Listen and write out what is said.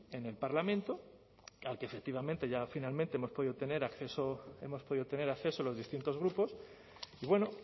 en el parlamento al que efectivamente ya finalmente hemos podido tener acceso los distintos grupos y bueno